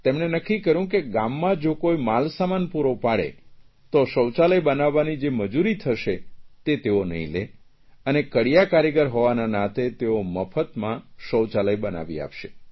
તેમણે નક્કી કર્યું કે ગામમાં જો કોઇ માલસામાન પૂરો પાડે તો શૌચાલય બનાવવાની જે મજૂરી થશે તે તેઓ નહીં લે અને કડિયા કારીગર હોવાના નાતે તેઓ મફતમાં શૌચાલય બનાવી આપશે